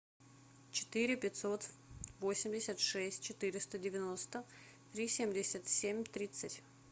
четыре пятьсот восемьдесят шесть четыреста девяносто три семьдесят семь тридцать